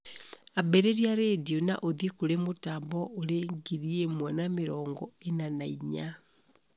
ambĩrĩria rĩndiũ na ũthiĩ kũri mũtambo ũrĩ ngiri ĩmwe na mĩrongo ĩna na inya